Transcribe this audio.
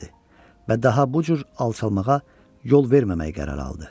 Və daha bu cür alçalmağa yol verməmək qərarı aldı.